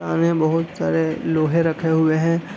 सामने बहोत सारे लोहे रखे हुए हैं।